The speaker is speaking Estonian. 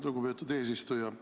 Lugupeetud eesistuja!